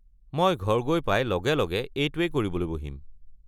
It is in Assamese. মই ঘৰ গৈ পাই লগে লগে এইটোৱেই কৰিবলৈ বহিম।